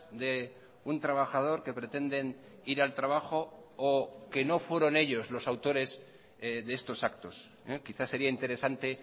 de un trabajador que pretenden ir al trabajo o que no fueron ellos los autores de estos actos quizás sería interesante